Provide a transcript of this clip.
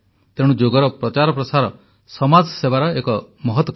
ତେଣୁ ଯୋଗର ପ୍ରଚାର ପ୍ରସାର ସମାଜସେବାର ଏକ ମହତ କାର୍ଯ୍ୟ